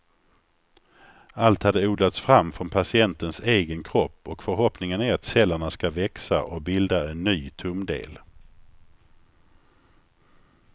Allt hade odlats fram från patientens egen kropp och förhoppningen är att cellerna ska växa och bilda en ny tumdel.